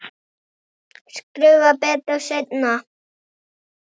Skrifa betur seinna.